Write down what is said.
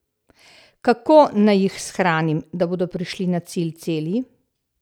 Kako naj jih shranim, da bodo prišli na cilj celi?